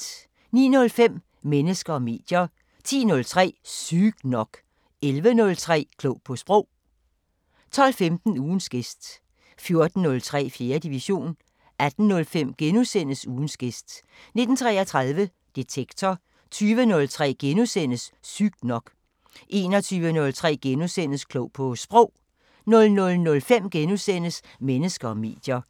09:05: Mennesker og medier 10:03: Sygt nok 11:03: Klog på Sprog 12:15: Ugens gæst 14:03: 4. division 18:05: Ugens gæst * 19:33: Detektor 20:03: Sygt nok * 21:03: Klog på Sprog * 00:05: Mennesker og medier *